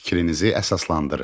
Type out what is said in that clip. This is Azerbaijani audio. Fikrinizi əsaslandırın.